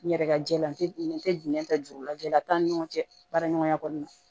N yɛrɛ ka jɛ la n tɛ n tɛ nɛni ta juru lajala t'an ni ɲɔgɔn cɛ baaraɲɔgɔnya kɔnɔna na